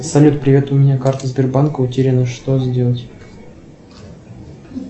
салют привет у меня карта сбербанка утеряна что сделать